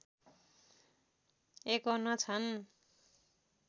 ५१ छन्